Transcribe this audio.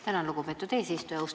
Tänan, lugupeetud eesistuja!